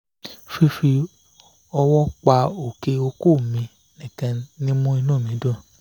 fifi owo pa oke oko mi nikan ni mu inu mi dun